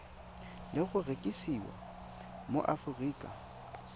le go rekisiwa mo aforika